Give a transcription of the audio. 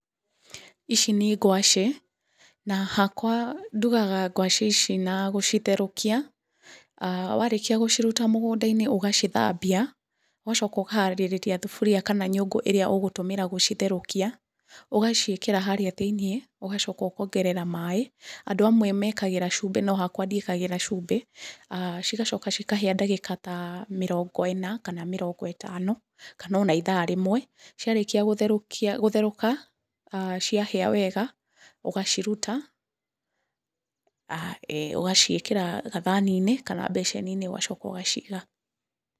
Ici nĩ ngwaci, na hakwa ndugaga ngwaci ici na gũcitherũkia, warĩkia gũciruta mũgũnda-inĩ ũgacithambia, ũgacoka ũkaharĩrĩria thaburia kana nyũngũ ĩrĩa ũgũtũmĩra gũcitherũkia, ũgaciĩkĩra harĩa thĩiniĩ, ũgacoka ũkongerera maaĩ, andũ amwe mekagĩra cumbi nohakwa ndiĩkagĩra cumbi, cigacoka cikahĩa ndagĩka ta mĩrongo ĩna kana mĩrongo ĩtano, kana ona ithaa rĩmwe, ciarĩkia gũtherũka, ciahĩa wega, ũgaciruta, ugaciĩkĩra gathani-inĩ kana mbeceni-inĩ ũgacoka ũgaciiga.